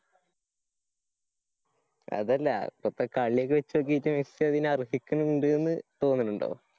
അതല്ലാ. പ്പത്തെ കള്യൊക്കെ വചോക്കിട്ട് സ്സി അതിന് അര്‍ഹിക്കിണിണ്ട് ന്ന് തോന്നുണുണ്ടോ?